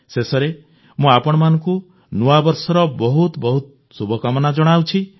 ଶେଷରେ ମୁଁ ଆପଣଙ୍କୁ ନୂଆବର୍ଷର ବହୁତ ବହୁତ ଶୁଭକାମନା ଜଣାଉଛି